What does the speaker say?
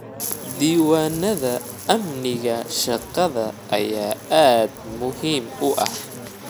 Diiwaanada amniga shaqada ayaa aad muhiim u ah.